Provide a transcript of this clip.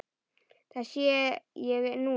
Það sé ég núna.